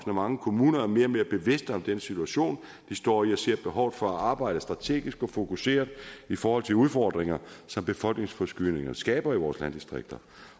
at mange kommuner er mere og mere bevidste om den situation de står i og ser behovet for at arbejde strategisk og fokuseret i forhold til udfordringer som befolkningsforskydninger skaber i vores landdistrikter